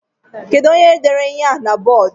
Kedu onye dere ihe a na bọọdu?